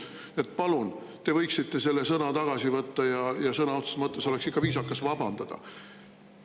Nii et, palun, te võiksite selle tagasi võtta ja sõna otseses mõttes oleks ikka viisakas vabandada.